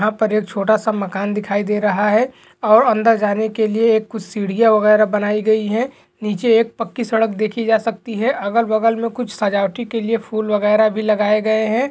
यहा पर एक छोटासा मखान दिखाई दे रहा है और अंदर जाने के लिए एक कुछ सीडिया वैगेरा बनाई गयी है नीचे एक पक्की सड़क देखी जा सकती है अगल-बगल मे कुछ सजावटी के लिए फूल वैगेरे भी लगाए गए है।